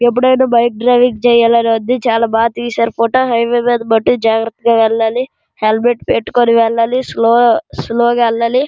ఇప్పుడైన bike driving చెయ్యాలని ఉంది. చాలా బాగా తీశారు ఫోటో హాయి వెయ్ మీద మతుకు జాగ్రత్తగా వెళ్ళాలి. హెల్మెట్ పటికునే వెళ్ళాలి స్లో గా స్లో గా వెళ్ళాలి.